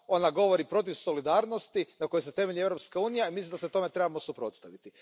Ona govori protiv solidarnosti na kojoj se temelji Europska unija i mislim da se tomu trebamo suprotstaviti.